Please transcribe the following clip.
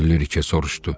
Kəkilliriki soruşdu.